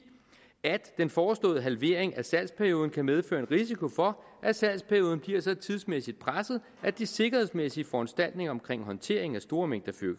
at den foreslåede halvering af salgsperioden kan medføre en risiko for at salgsperioden bliver så tidsmæssigt presset at de sikkerhedsmæssige foranstaltninger omkring håndteringen af store mængder